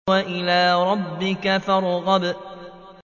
وَإِلَىٰ رَبِّكَ فَارْغَب